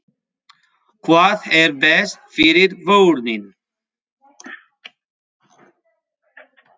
Hvað er best fyrir börnin?